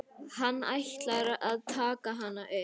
Hann ætlar að taka hana upp.